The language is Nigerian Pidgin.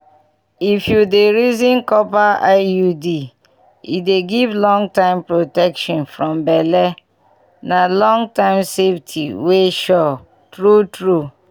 if you dey reason copper iud e dey give long protection from belle na long-term safety wey sure. true true